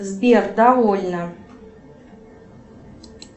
сбер довольно